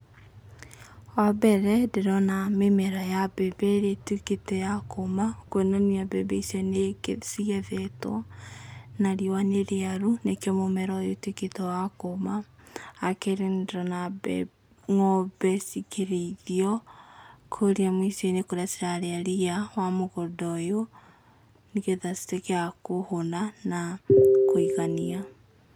Wa mbere ndĩrona mĩmera ya mbembe ĩrĩa ĩtuĩkĩte ya kũma, kuonania mbembe icio nĩ cigethetwo na riũa nĩ rĩaru, nĩkĩo mũmera ũyũ ũtuĩkĩte we kũma, wa kerĩ nĩ ndĩrona ng'ombe cikĩrĩithio kũrĩa mũico-inĩ kũrĩa cirarĩa ria wa mũgũnda ũyũ, nĩgetha cituĩke wa kũhũna na kũigania.